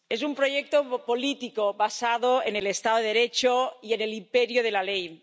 Europa es un proyecto político basado en el estado de Derecho y en el imperio de la ley.